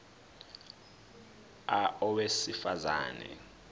a owesifaz ane